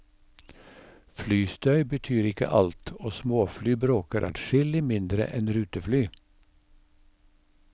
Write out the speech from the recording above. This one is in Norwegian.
Flystøy betyr ikke alt, og småfly bråker adskillig mindre enn rutefly.